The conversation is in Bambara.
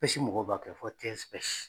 Pɛsi mɔgɔw b'a kɛ fɔ